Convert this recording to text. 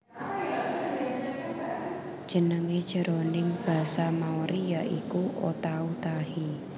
Jenengé jroning basa Maori ya iku Otautahi